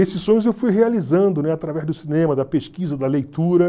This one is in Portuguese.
Esses sonhos eu fui realizando, né, através do cinema, da pesquisa, da leitura.